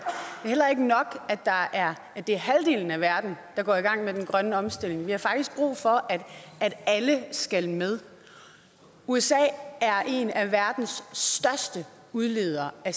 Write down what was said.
er heller ikke nok at det er halvdelen af verden der går i gang med den grønne omstilling vi har faktisk brug for at alle skal med usa er en af verdens største udledere af